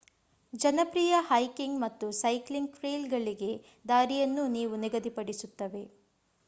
ಜನಪ್ರಿಯ ಹೈಕಿಂಗ್ ಮತ್ತು ಸೈಕ್ಲಿಂಗ್ ಟ್ರೇಲ್‌ಗಳಿಗೆ ದಾರಿಯನ್ನೂ ಇವು ನಿಗದಿಸುತ್ತವೆ